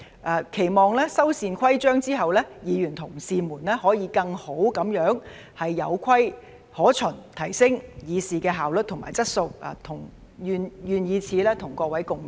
我期望修繕規章之後，議員同事們可以更好地有規可循，提升議事的效率和質素，願以此與各位共勉。